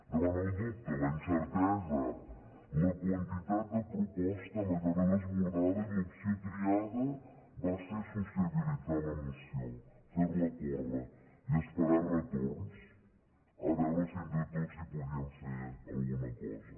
davant el dubte la incertesa la quantitat de proposta em vaig quedar desbordada i l’opció triada va ser sociabilitzar la moció fer la córrer i esperar retorns a veure si entre tots hi podíem fer alguna cosa